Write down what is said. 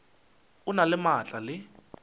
o na le maatla le